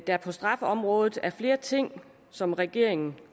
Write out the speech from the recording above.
der på straffeområdet er flere ting som regeringen